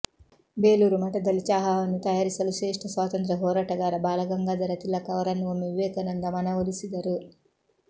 ಬೇಲೂರು ಮಠದಲ್ಲಿ ಚಹಾವನ್ನು ತಯಾರಿಸಲು ಶ್ರೇಷ್ಠ ಸ್ವಾತಂತ್ರ್ಯ ಹೋರಾಟಗಾರ ಬಾಲಗಂಗಾಧರ ತಿಲಕ್ ಅವರನ್ನು ಒಮ್ಮೆ ವಿವೇಕಾನಂದ ಮನವೊಲಿಸಿದರು